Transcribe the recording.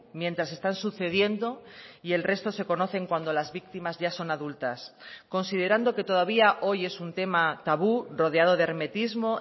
mientras están sucediendo y el resto se conocen cuando las víctimas ya son adultas considerando que todavía hoy es un tema tabú rodeado de hermetismo